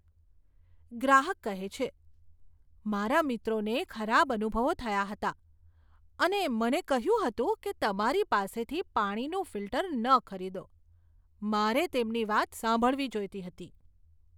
ગ્રાહક કહે છે, મારા મિત્રોને ખરાબ અનુભવો થયા હતા અને મને કહ્યું હતું કે તમારી પાસેથી પાણીનું ફિલ્ટર ન ખરીદો, મારે તેમની વાત સાંભળવી જોઈતી હતી.